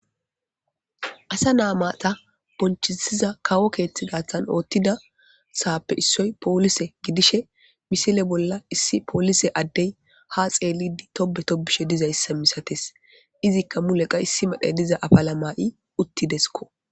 Asa naamata bonchisiza kawo keeththi dathan oothtida saappe issoy poolise gidishe misile bolla issi poolise addey ha xeelidi tobe tobishe dizayssa misates izikka muleqa issi madhey diza afalama'i uttideskko.